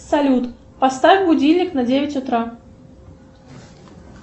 салют поставь будильник на девять утра